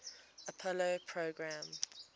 apollo program